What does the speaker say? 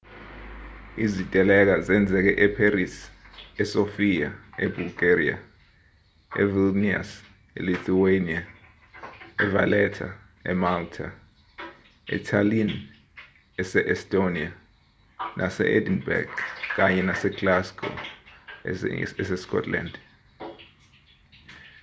iziteleka zenzeke epherisi e-sofia e-bulgaria, e-vilnius e-lithuania e-valetta emalta etallinn ese-estonia nase-edinburgh kanye nase-glasgow ese-scotland